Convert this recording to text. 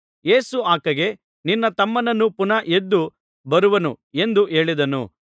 ಯೇಸು ಆಕೆಗೆ ನಿನ್ನ ತಮ್ಮನು ಪುನಃ ಎದ್ದು ಬರುವನು ಎಂದು ಹೇಳಿದನು